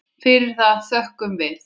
Fyrir það þökkum við.